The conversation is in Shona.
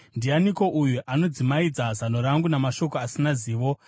“Ndianiko uyu anodzimaidza zano rangu namashoko asina zivo?